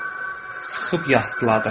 Sıxıb yastladırdı.